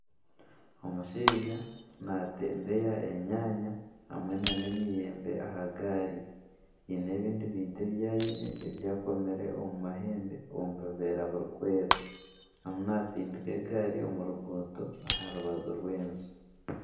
Omushaija natembeya enyaanya hamwe nana emiyembe aha gaari. Hiine ebindi bintu ebi aine ebyakomire omu mahembe omu obuveera buri kweera. Arimu natsindika egaari omu ruguuto aharubaju rw'enju.